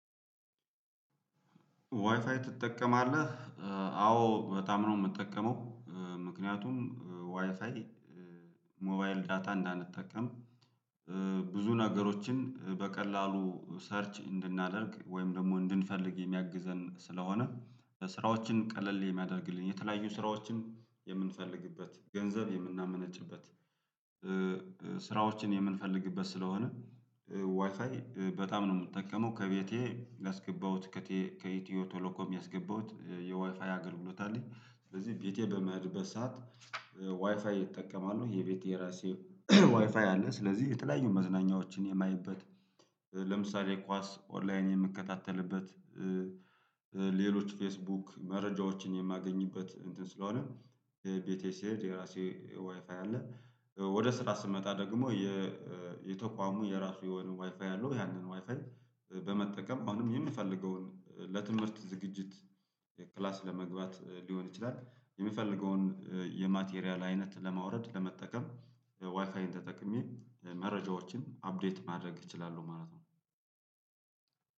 ዋይፋይ ትጠቀማለህ? አዎ በጣም ነው የምጠቀመው ምክንያቱም ዋይፋይ ሞባይል ዳታ እንዳንጠቀም ብዙ ነገሮችን በቀላሉ ሰርች እንድናደርግ ወይም ደግሞ እንድንፈልግ የሚያግዘን ስለሆነ ስራዎችን ቀለል የሚያደርግልን የተለያዩ ስራዎችን የምንፈልግበት ገንዘብ የምናመነጭበት ስራዎችን የምንፈልግበት ስለሆነ ዋይፋይ በጣም ነው የምጠቀመው ከቤቴ አስገባሁት ከኢትዮ ቶሎኮም ያስገባሁት የዋይፋይ አገልግሎት አለኝ። ስለዚህ ቤቴ በምሄድበት ሰዓት ዋይፋይ እጠቀማለሁ የቤቴ የራሴ ዋይፋይ አለ ስለዚህ የተለያዩ መዝናኛዎችን የማየበት ለምሳሌ ኳስ ኦንላይን የምከታተልበት ሌሎች ፌስቡክ መረጃዎችን የማገኝበት እንትን ስለሆነ። የቤቴ ስሄድ የራሴ ዋይፋይ አለ። ወደ ስራ ስመጣ ደግሞ የተቋሙ የራሱ የሆነ ዋይፋይ አለው ያንን ዋይፋይ በመጠቀም አሁንም የምፈልገውን ለትምህርት ዝግጅት ክላስ ለመግባት ሊሆን ይችላል። የምፈልገውን የማቴሪያል አይነት ለማውረድ ለመጠቀም ዋይፋይን ተጠቅሜ መረጃዎችን አፕዴት ማድረግ እችላለሁ ማለት ነው።